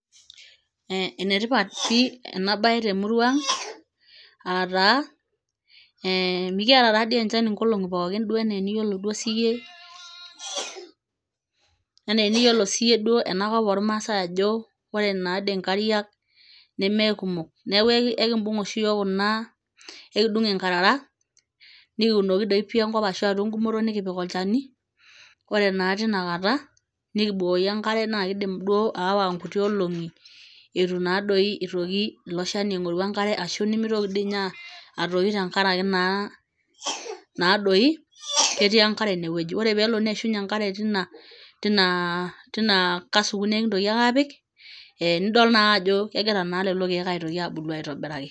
Ee enetipat pii ena baye temurua ang' aa naa mikiata enchan nkolong'i pookin enaa eniyiolo duo siyie enakop ormaasai ajo ore naa dii nkariak nemeekumok neeku aikiidung' oshi iyiook kuna akidung' nkarara nikiunoki atua enkop ashu atua enkumoto nikipik olchani ore naa tinakata nikibukoki enkare naa kiidim aawa nkuti olong'i itu naadoi itoki ilo shani aing'ori enkare ashu nemitoki ninye atoyu tenkaraki naadoi ketii enkare inewueji ore pee elo neishunyie enkare tina asuku nikintoki naake apik ee nidol naa ajo kegira lelo keek aabulu aitobiraki.